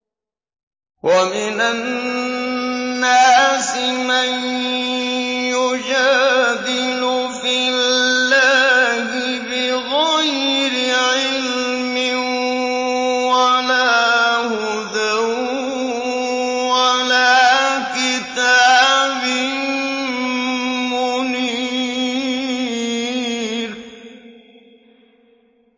وَمِنَ النَّاسِ مَن يُجَادِلُ فِي اللَّهِ بِغَيْرِ عِلْمٍ وَلَا هُدًى وَلَا كِتَابٍ مُّنِيرٍ